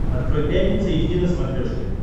открой пятница эйч ди на смотрешке